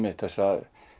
þessa